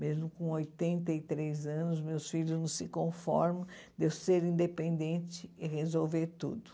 Mesmo com oitenta e três anos, meus filhos não se conformam de eu ser independente e resolver tudo.